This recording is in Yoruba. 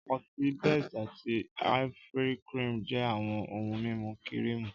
Ọtí best àti Ivory-cream jẹ́ àwọn ohun mímu kírììmù